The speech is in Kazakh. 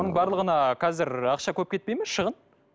оның барлығына қазір ақша көп кетпейді ме шығын